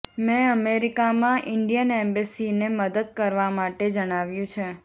મેં અમેરિકામાં ઇન્ડિયન એમ્બેસીને મદદ કરવા માટે જણાવ્યું છે